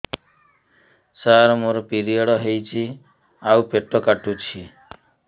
ସାର ମୋର ପିରିଅଡ଼ ହେଇଚି ଆଉ ପେଟ କାଟୁଛି